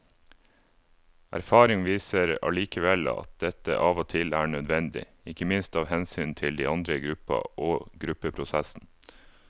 Erfaring viser allikevel at dette av og til er nødvendig, ikke minst av hensyn til de andre i gruppa og gruppeprosessen.